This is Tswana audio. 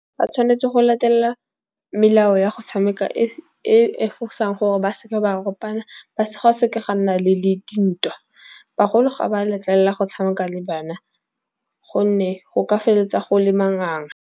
Ba tshwanetse go latelela melao ya go tshameka e fosang gore ba seke ba ropana ba seka ga nna le dintwa. Bagolo ga ba letlelela go tshameka le bana gonne go ka feleletsa go le manganga.